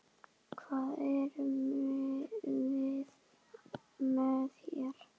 Hvað erum við með hér?